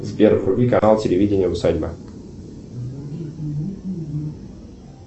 сбер вруби канал телевидения усадьба